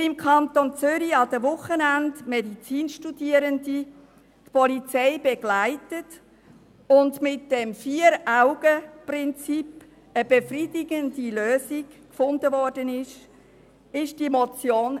Weil im Kanton Zürich an den Wochenenden Medizinstudierende die Polizei begleiten und mit dem Vier-Augen-Prinzip eine befriedigende Lösung gefunden wurde, entstand diese Motion.